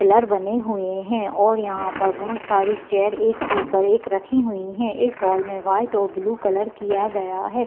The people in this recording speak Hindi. पिलर बने हुए है और यहाँ पर बहोत सारी चेयर एक के ऊपर एक रखी हुई हैं इस हॉल में वाइट और ब्लू कलर किया गया है।